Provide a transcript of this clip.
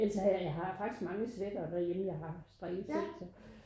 Ellers så havde jeg jeg har faktisk mange sweatere derhjemme jeg har strikket selv så